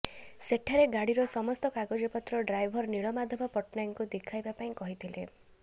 ସେଠାରେ ଗାଡିର ସମସ୍ତ କାଗଜପତ୍ର ଡ୍ରାଇଭର ନୀଳମାଧବ ପଟ୍ଟନାୟକଙ୍କୁ ଦେଖାଇବା ପାଇଁ କହିଥିଲେ